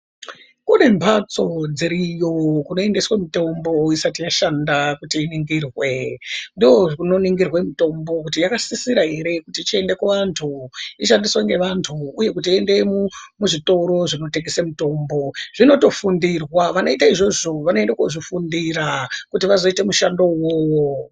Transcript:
Kune mbatso dziriyo kunoendeswe mitombo isatiyashanda kuti iningirwe. Ndokunoningirwe mitombo kuti yakasisira ere kuti ichiende kuvantu ishandiswe ngevantu, uye kuti iende muzvitoro zvinotengese mitombo. Zvinotofundirwa vanoita izvozvo vanoenda kozvifundira kuti vazoita mushando ivovo.